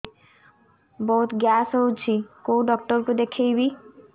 ବହୁତ ଗ୍ୟାସ ହଉଛି କୋଉ ଡକ୍ଟର କୁ ଦେଖେଇବି